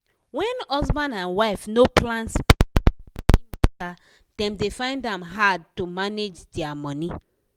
wen husband and wife no plan spendi-spendi matter dem dey find am harr to manage dia money.